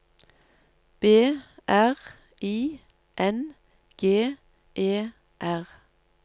B R I N G E R